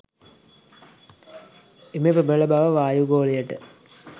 එම ප්‍රබල බව වායුගෝලයට